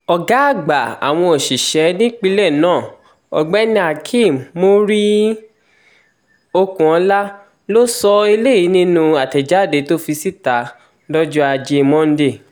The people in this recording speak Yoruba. ọ̀gá àgbà àwọn òṣìṣẹ́ nípínlẹ̀ náà ọ̀gbẹ́nihakeem muri-okunola ló sọ eléyìí nínú àtẹ̀jáde tó fi síta lọ́jọ́ ajé monde